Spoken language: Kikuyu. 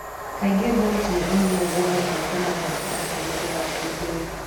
Kaingĩ, Bolt nĩ onagwo agĩthaka na arata ake hĩndĩ ya ũkũngũĩri.